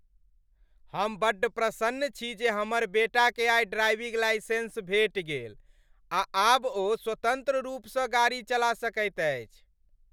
हम बड्ड प्रसन्न छी जे हमर बेटाकेँ आइ ड्राइविङ्ग लाइसेन्स भेटि गेल आ आब ओ स्वतन्त्र रूपसँ गाड़ी चला सकैत अछि।